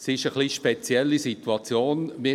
Die Situation ist etwas speziell.